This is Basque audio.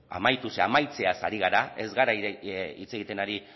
amaitu ze amaitzeaz ari gara ez gara hitz egiten ari